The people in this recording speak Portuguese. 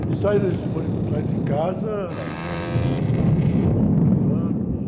Eles saíram, eles foram em, saíram de casa, saiu com dezoito anos...